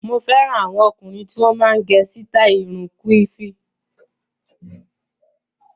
Mo fẹ́ràn àwọn ọkùnrin tí wọ́n máa ń gẹ sítáì irun kíwùfù.